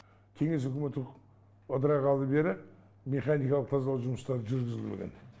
кеңес үкіметі ыдырағалы бері механикалық тазалау жұмыстары жүргізілмеген